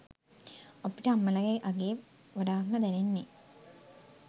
අපිට අම්මලගෙ අගේ වඩාත්ම දැනෙන්නෙ